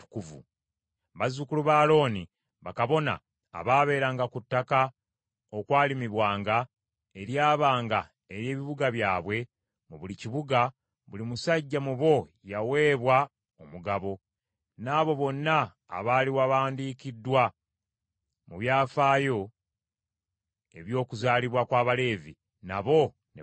Bazzukulu ba Alooni, bakabona abaabeeranga ku ttaka okwalimibwanga, eryabanga ery’ebibuga byabwe, mu buli kibuga, buli musajja mu bo yaweebwa omugabo, n’abo bonna abaali bawandiikiddwa mu byafaayo eby’okuzaalibwa kw’Abaleevi, nabo ne bagabana.